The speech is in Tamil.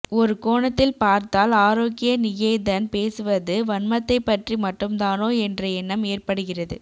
ஒரு கோணத்தில் பார்த்தால் ஆரோக்கிய நிகேதன் பேசுவது வன்மத்தைப்பற்றி மட்டும்தானோ என்ற எண்ணம் ஏற்படுகிறது